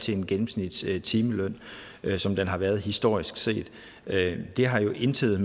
til en gennemsnitstimeløn som den har været historisk set det har jo intet